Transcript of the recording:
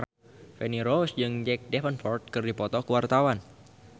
Feni Rose jeung Jack Davenport keur dipoto ku wartawan